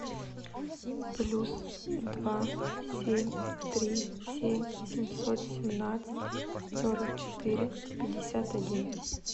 плюс два семь три семь семьсот семнадцать сорок четыре пятьдесят один